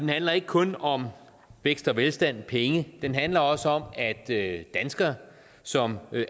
det handler ikke kun om vækst og velstand penge det handler også om at danskere som